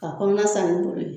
A kɔnɔna sani n'i bolo ye.